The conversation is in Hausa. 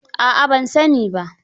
A'a ban sani ba.